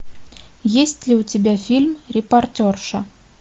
есть ли у тебя фильм репортерша